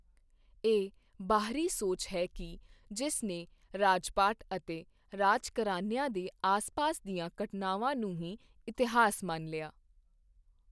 ਇਹ ਬਾਹਰੀ ਸੋਚ ਹੈ ਕਿ ਜਿਸ ਨੇ ਰਾਜਪਾਠ ਅਤੇ ਰਾਜਘਰਾਨਿਆਂ ਦੇ ਆਸਪਾਸ ਦੀਆਂ ਘਟਨਾਵਾਂ ਨੂੰ ਹੀ ਇਤਿਹਾਸ ਮੰਨ ਲਿਆ।